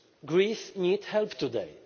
Greece needs help today